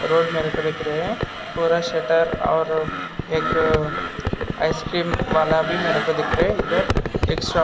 एक रोड मेरे को दिख रहे पूरा शटर और एक आइसक्रीम वाला भी मेरे को दिख रहा इधर एक शो--